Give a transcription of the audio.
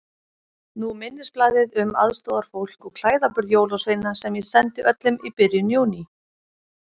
Nú minnisblaðið um aðstoðarfólk og klæðaburð jólasveina sem ég sendi öllum í byrjun Júní.